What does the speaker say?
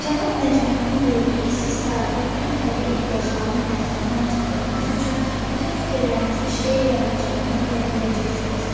Cənab Nəcməddin buyurdu ki, siz sarayda bütün təbii ehtiyacların təsirindən çıxdığınız üçün bütün fikirlərinizi şeir yaradıcılığına verə biləcəksiniz.